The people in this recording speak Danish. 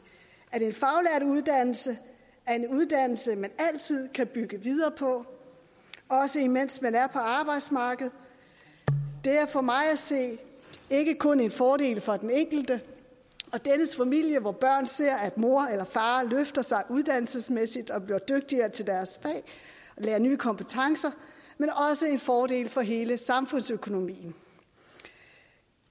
at en faglært uddannelse er en uddannelse man altid kan bygge videre på også mens man er på arbejdsmarkedet det er for mig at se ikke kun en fordel for den enkelte og dennes familie hvor børn ser at mor eller far løfter sig uddannelsesmæssigt og bliver dygtigere til deres fag og lærer nye kompetencer men også en fordel for hele samfundsøkonomien